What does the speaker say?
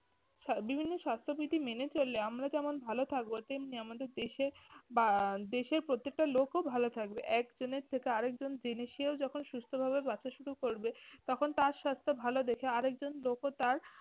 সা~ বিভিন্ন স্বাস্থ্যবিধি মেনে চললে আমরা যেমন ভালো থাকব তেমনি আমাদের দেশের বা আহ দেশের প্রত্যেকটা লোকও ভালো থাকবে। একজনের থেকে আরেকজন জেনে সেও যখন সুস্থ ভাবে বাঁচা শুরু করবে তখন তার স্বাস্থ্য ভালো দেখে আরেকজন লোকও তার